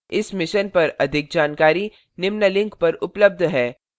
इस mission पर अधिक जानकारी निम्न लिंक पर उपलब्ध है